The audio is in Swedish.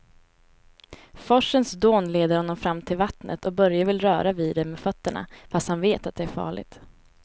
Forsens dån leder honom fram till vattnet och Börje vill röra vid det med fötterna, fast han vet att det är farligt.